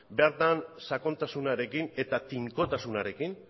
bertan sakontasunarekin eta tinkotasunarekin